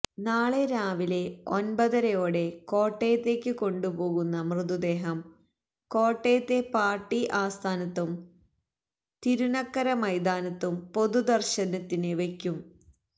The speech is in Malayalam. നാളെ രാവിലെ ഒന്പതരയോടെ കോട്ടയത്തേക്ക് കൊണ്ടു പോരുന്ന മൃതദേഹം കോട്ടയത്തെ പാര്ട്ടി ആസ്ഥാനത്തും തിരുനക്കര മൈതാനത്തും പൊതുദര്ശനത്തിന് വയ്ക്കും